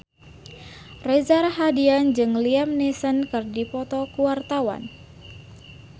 Reza Rahardian jeung Liam Neeson keur dipoto ku wartawan